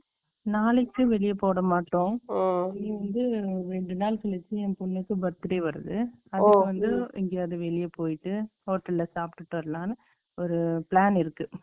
நாளைக்கு வெளிய போக மாடோ birthday வருது அதுக்கு வந்து எங்கேயாச்சு வெளிய போயிடு hotel ல சாப்புட்டு வரலாம்னு ஒரு இருக்கு